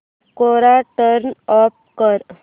कोरा turn off कर